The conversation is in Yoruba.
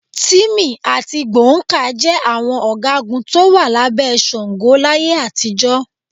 Tìmì àti Gbọ̀ǹkáà jẹ àwọn ọ̀gágun tó wà lábẹ́ Ṣàngó láyé àtijọ́.